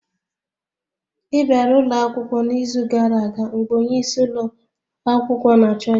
Ị bịara ụlọ akwụkwọ n'izu gara aga mgbe onyeisi ụlọ akwụkwọ na-achọ gị